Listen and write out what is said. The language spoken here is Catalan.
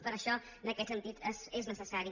per això en aquest sentit és necessari